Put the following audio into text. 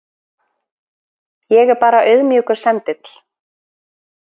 Ég er bara auðmjúkur sendill.